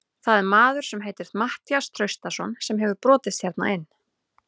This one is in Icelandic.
Það er maður sem heitir Matthías Traustason sem hefur brotist hérna inn.